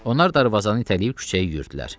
Onlar darvazanı itələyib küçəyə yürüdülər.